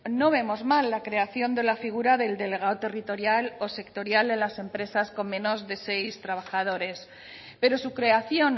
no vemos mal la creación de la figura del delegado territorial o sectorial en las empresas con menos de seis trabajadores pero su creación